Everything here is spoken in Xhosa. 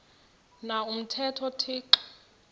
na umthetho uthixo